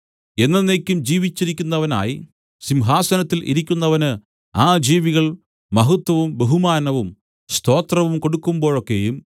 എന്നെന്നേക്കും ജീവിച്ചിരിക്കുന്നവനായി സിംഹാസനത്തിൽ ഇരിക്കുന്നവന് ആ ജീവികൾ മഹത്വവും ബഹുമാനവും സ്തോത്രവും കൊടുക്കുമ്പോഴൊക്കെയും